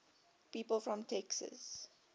people from texas